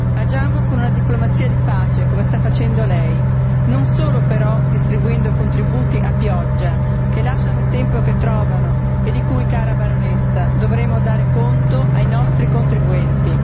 Agiamo con una diplomazia di pace, come sta facendo lei, non solo però distribuendo contributi a pioggia che lasciano il tempo che trovano e di cui, cara baronessa, dovremo dar conto ai nostri contribuenti.